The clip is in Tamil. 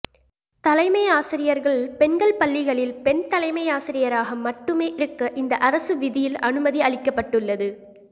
தலைமை ஆசிரியர்கள் பெண்கள் பள்ளிகளில் பெண் தலைமை ஆசிரியராக மட்டுமே இருக்க இந்த அரசு விதியில் அனுமதி அளிக்கப்பட்டுள்ளது